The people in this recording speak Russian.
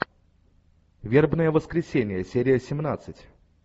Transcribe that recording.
вербное воскресенье серия семнадцать